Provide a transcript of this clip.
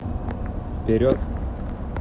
вперед